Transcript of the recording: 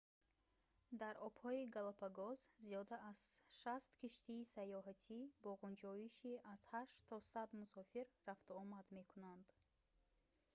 дар обҳои галапагос зиёда аз 60 киштии саёҳатӣ бо ғунҷоиши аз 8 то 100 мусофир рафтуомад мекунанд